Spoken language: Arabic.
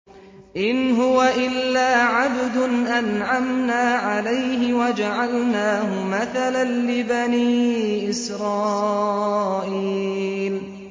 إِنْ هُوَ إِلَّا عَبْدٌ أَنْعَمْنَا عَلَيْهِ وَجَعَلْنَاهُ مَثَلًا لِّبَنِي إِسْرَائِيلَ